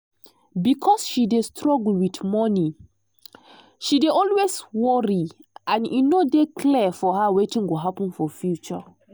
because she dey struggle with monie she dey always worry um and e no dey clear for her wetin go happen for future.